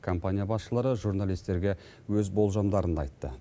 компания басшылары журналистерге өз болжамдарын айтты